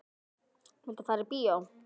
Viltu fara í bíó?